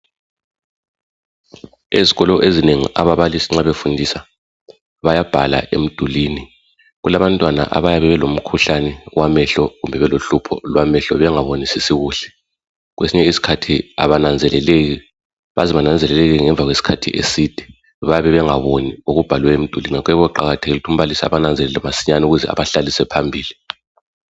Ezikolo ezinengi ababalisi nxa befundisa bayabhala emdulini. Kulabantwana abayabe belomkhuhlane wamehlo kumbe belohlupho lwamehlo bengabonisisi kuhle. Kwesinye iskhathi abananzeleleki baze bananzeleleke ngemva kwesikhathi eside. Bayabe bengaboni okubhalwe emdulini ngako kuyabe kuqakathekile ukuthi umbalisi abananzelele masinyane ukuze abahlalise phambili.